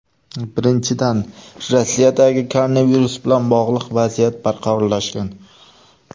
Birinchidan, Rossiyadagi koronavirus bilan bog‘liq vaziyat barqarorlashgan.